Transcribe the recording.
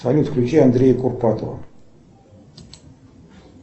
салют включи андрея курпатова